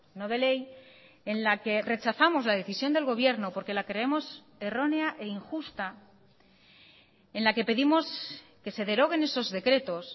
no de ley en la que rechazamos la decisión del gobierno porque la creemos errónea e injusta en la que pedimos que se deroguen esos decretos